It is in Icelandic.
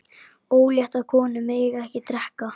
Óléttar konur mega ekki drekka.